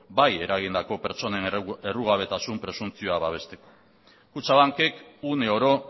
bai eragindako pertsonen errugabetasun presuntzioa babesteko kutxabankek uneoro